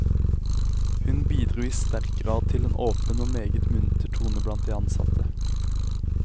Hun bidro i sterk grad til en åpen og meget munter tone blant de ansatte.